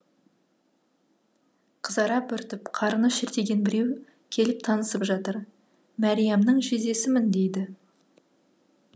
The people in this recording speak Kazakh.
қызара бөртіп қарны шертиген біреу келіп танысып жатыр мәриямның жездесімін дейді